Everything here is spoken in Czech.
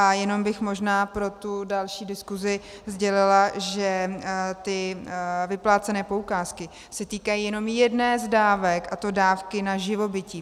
A jenom bych možná pro tu další diskusi sdělila, že ty vyplácené poukázky se týkají jenom jedné z dávek, a to dávky na živobytí.